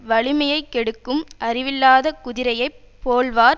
வலிமையை கெடுக்கும் அறிவில்லாத குதிரையை போல்வார்